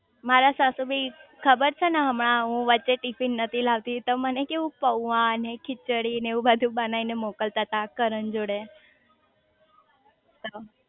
મારા સાસુ બી ખબર છે ને હમણાં હું વચ્ચે ટિફિન નથી લાવ તી તો મને કેવું પૌઆ ખીચડી ને એવું બધું બનાઈ ને મોકલતા તા કરણ જોડે